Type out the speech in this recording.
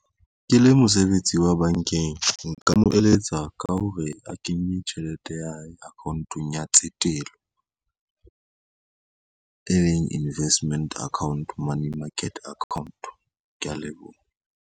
Ke le mosebetsi wa bankeng, nka mo eletsa ka hore a kenye tjhelete ya hae account-ong ya tsetelo e leng investment account, money market account, kea leboha.